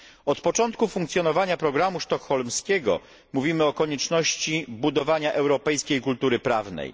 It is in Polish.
Od początku funkcjonowania programu sztokholmskiego mówimy o konieczności budowania europejskiej kultury prawnej.